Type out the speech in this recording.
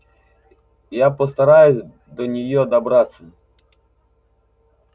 я постараюсь до неё добраться